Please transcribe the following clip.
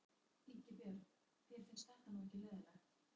Ingi Björn, þér finnst þetta nú ekki leiðinlegt?